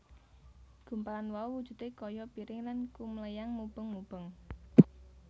Gumpalan mau wujudé kaya piring lan kumléyang mubeng mubeng